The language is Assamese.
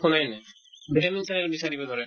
শুনায়ে নাই vitamin saline বিচাৰিব ধৰে